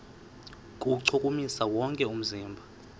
kuwuchukumisa wonke umzimba